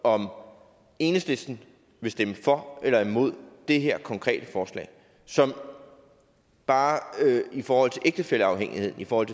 om enhedslisten vil stemme for eller imod det her konkrete forslag som bare i forhold til ægtefælleafhængigheden i forhold